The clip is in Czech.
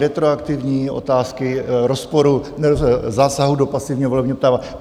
Retroaktivní otázky rozporu, zásahu do pasivního volebního práva.